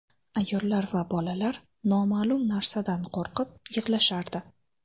Ayollar va bolalar noma’lum narsadan qo‘rqib, yig‘lashardi.